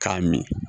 K'a min